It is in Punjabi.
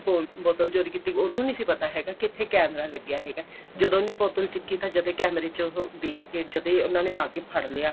ਬੋਤਲ ਚੋਰੀ ਕੀਤੀ ਉਹਨੂੰ ਨਹੀਂ ਸੀ ਪਤਾ ਹੈਗਾ ਕੀ ਇੱਥੇ camera ਲੱਗਿਆ ਹੈਗਾ ਜਦੋਂ ਉਹਨੇ ਬੋਤਲ ਚੱਕੀ ਤਾਂ ਜਦੇਂ ਕੈਮਰੇ ਚ ਉਹ ਦੇਖਕੇ ਜਦੇਂ ਉਹਨਾ ਨੇ ਆਕੇ ਫੜ ਲਿਆ